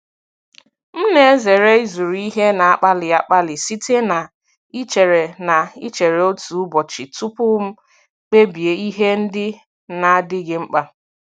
Ana m ezere ịzụrụ ihe na-akpali akpali site na ichere na ichere otu ụbọchị tupu m kpebie ihe ndị na-adịghị mkpa.